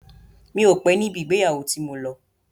Mi ò pé níbi ìgbéyàwó tí mo lọ.